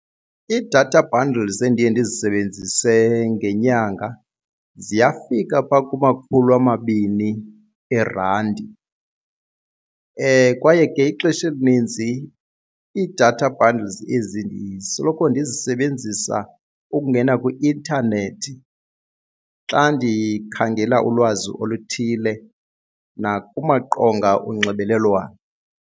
Ii-data bundles endiye ndizisebenzise ngenyanga ziyafika pha kumakhulu amabini eerandi. Kwaye ke ixesha elininzi ii-data bundles ezi ndisoloko ndizisebenzisa ukungena kwi-intanethi xa ndikhangela ulwazi oluthile nakumaqonga onxibelelwano.